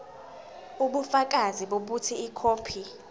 ubufakazi bokuthi ikhophi